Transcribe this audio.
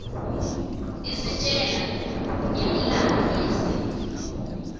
isitjela ngemlandvo yesintfu